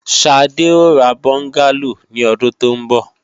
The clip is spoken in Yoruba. Sade ó ra bọ́ngálò ní ọdún tó ń bọ̀